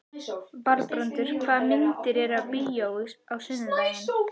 Valbrandur, hvaða myndir eru í bíó á sunnudaginn?